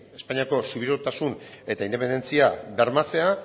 espainiako subiranotasun eta independentzia bermatzea